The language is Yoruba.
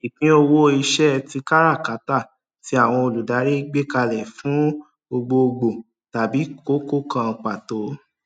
ìpín owó iṣẹ tí káràkátà tí àwọn olùdarí gbékalẹ fún gbogbo gbòò tàbí kókó kan pàtó